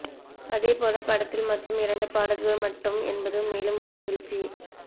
அதே போல படத்தில் மொத்தம் இரண்டு பாடல்கள் மட்டும் என்பது மேலும் ஒரு மகிழ்ச்சி